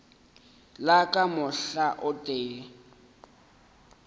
le ka mohla o tee